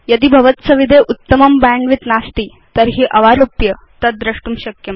यदि भवत्सविधे उत्तमं बैण्डविड्थ नास्ति तर्हि अवारोप्य तद् द्रष्टुं शक्यम्